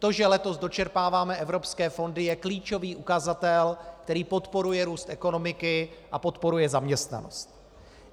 To, že letos dočerpáváme evropské fondy, je klíčový ukazatel, který podporuje růst ekonomiky a podporuje zaměstnanost.